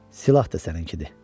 Silah da səninkidir.